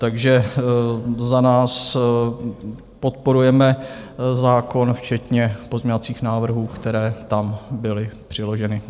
Takže za nás podporujeme zákon včetně pozměňovacích návrhů, které tam byly přiloženy.